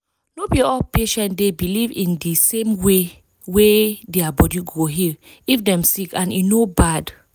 no be all patient dey believe in di same way way wey dia body go heal if dem sick and e no bad.